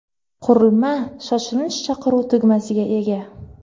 Qurilma shoshilinch chaqiruv tugmasiga ega.